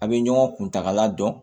A' bɛ ɲɔgɔn kuntagala dɔn